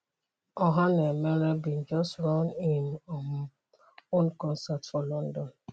ohanaemere bin just run im um own concert for london.